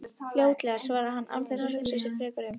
Fljótlega, svarar hann án þess að hugsa sig frekar um.